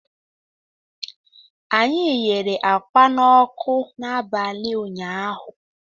Anyị ghere ákwá n'ọkụ n'abalị ụnyaahụ